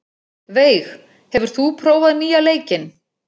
Veig, hefur þú prófað nýja leikinn?